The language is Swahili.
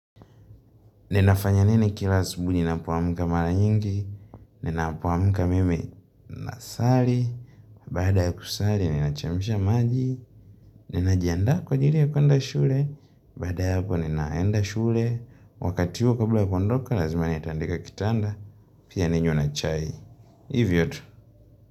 Ninafanya nini kila asubuhi ninapoamuka mara nyingi, ninapoamka mimi na sali, baada ya kusali, nina chemsha maji, ninajiandaa kwa ajiri ya kuenda shule, baada ya hapo ninaenda shule, wakati huo kabla ya kuondoka, lazima na itandika kitanda, pia ninywe na chai. Hivyo tu.